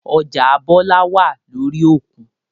Ọjà Bọlá wá lórí òkun